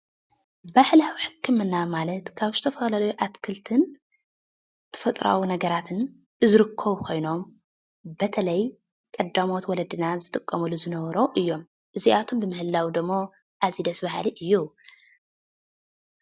ባህላዊ ሕክማና ማለት ካብ ዝተፈላለዩ ኣትክልትን ተፈጥሮኣዊ ነገራትን ዝርከቡ ኮይኖም በተለይ ቀዳሞት ወለድና ዝጥቀሙሉ ዝነበሩ እዮም፡፡ እዚኣቶም ብምህላዎም ደሞ ኣዝዩ ደስ በሃሊ እዩ፡፡